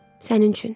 Sənin üçün.